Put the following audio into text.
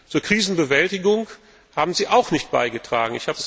Zur Krisenbewältigung haben sie auch nicht beigetragen.